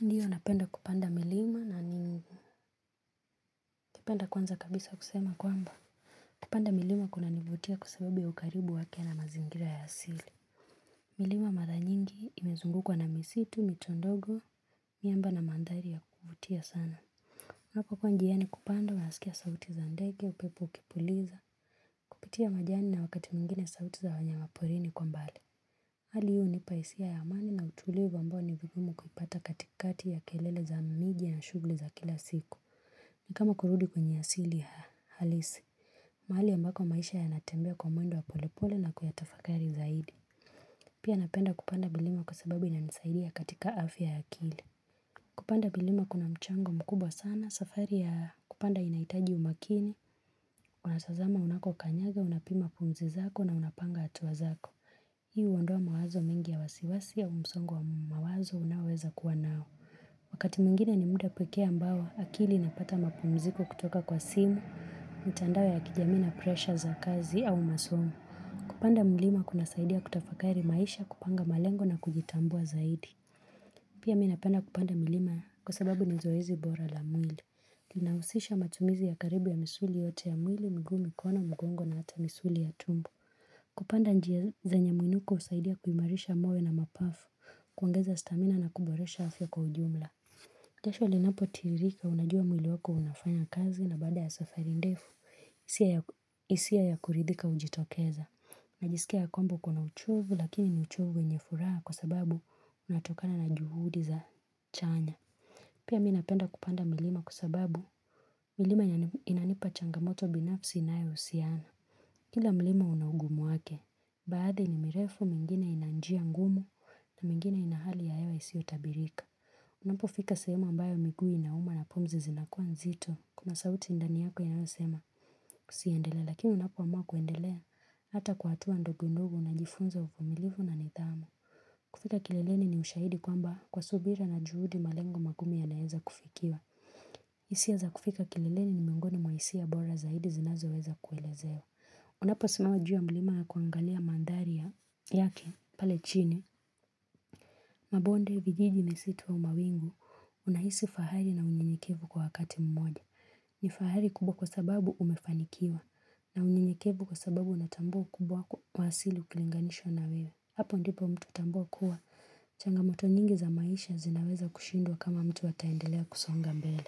Ndiyo unapenda kupanda milima na ningu. Kipenda kwanza kabisa kusema kwamba. Kupanda milima kuna nivutia kwa sababu ya ukaribu wake na mazingira ya sili. Milima mara nyingi imezungukwa na misitu, mito ndogo, miamba na mandhari ya kuvutia sana. Mwaka kwa njiani kupanda unasikia sauti za ndege upepo ukipuliza. Pitia majani na wakati mwingine sauti za wanyama porini kwa mbali. Hali hii hunipa hisia ya amani na utulivu ambao ni vigumu kupata katikati ya kelele za miji ya na shugli za kila siku. Ni kama kurudi kwenye asili halisi mahali ambako maisha yanatembea kwa mwendo wa polepole na kuyatafakari zaidi Pia napenda kupanda milima kwa sababu inanisaidia katika afya ya akili Kupanda milima kuna mchango mkubwa sana, safari ya kupanda inaitaji umakini Kuna unatazama unako kanyaga, unapima pumzi zako na unapanga hatua zako Hii huondoa mawazo mengi ya wasiwasi au msongo wa mawazo unaweza kuwa nao Wakati mwingine ni muda pekee ambao akili inapata mapumziko kutoka kwa simu, mitandao ya kijamii na presha za kazi au masomo Kupanda milima kuna saidia kutafakari maisha kupanga malengo na kujitambua zaidi Pia mi napenda kupanda milima kwa sababu nizoezi bora la mwili Kinahusisha matumizi ya karibu ya misuli yote ya mwili, miguu mikono, mgongo na hata misuli ya tumbo Kupanda njia zanyemuinuko husaidia kuimarisha moyo na mapafu, kuongeza stamina na kuboresha afya kwa ujumla jasho linapo tiririka unajua mwili wako unafanya kazi na baada ya safari ndefu, hisia ya kuridhika ujitokeza. Najisikia ya kwamba uko na uchovu lakini ni uchovu wenye furaha kwa sababu unatokana na juhudi za chanya. Pia mi napenda kupanda milima kwa sababu milima inanipa changamoto binafsi inayo usiana. Kila milima una ugumu wake, baadhi ni mirefu mingine ina njia ngumu na mingine ina hali ya hewa isio tabirika. Unapo fika sehemu ambayo miguu inauma na pumzi zinakua nzito kuna sauti ndani yako inayo sema usiendelee lakini unapo amua kuendelea hata kwa hatua ndogo ndogo unajifunza uvumilivu na nidhamu kufika kileleni ni ushaidi kwamba kwa subira na juhudi malengo magumu yanaeza kufikiwa hisia za kufika kileleni ni miongoni mwa hisia bora zaidi zinazo weza kuelezewa Unapo simama juu ya mlima an kuangalia mandharia yake pale chini Mabonde vijiji misitu au mawingu unahisi fahari na unyenyekevu kwa wakati mmoja. Ni fahari kubwa kwa sababu umefanikiwa na unyenyekevu kwa sababu unatambua iukubwa kwa asili ukilinganisha na wewe. Hapo ndipo mtu hutambua kuwa. Changamoto nyingi za maisha zinaweza kushindwa kama mtu ataendelea kusonga mbele.